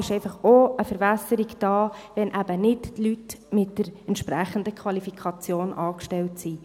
Das ist einfach auch eine Verwässerung, wenn eben nicht die Leute mit der entsprechenden Qualifikation angestellt sind.